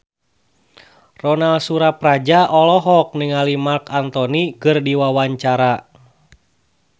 Ronal Surapradja olohok ningali Marc Anthony keur diwawancara